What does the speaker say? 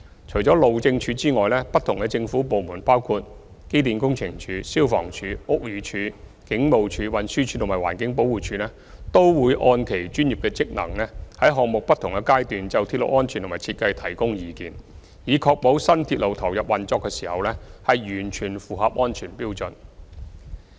除了路政署外，不同的政府部門包括機電工程署、消防處、屋宇署、警務處、運輸署及環境保護署等，均會按其專業職能，在項目的不同階段就鐵路安全和設計提供意見，以確保新鐵路投入運作時已完全符合安全標準。